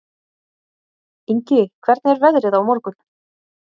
Ingi, hvernig er veðrið á morgun?